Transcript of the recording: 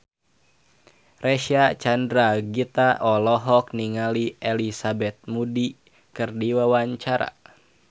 Reysa Chandragitta olohok ningali Elizabeth Moody keur diwawancara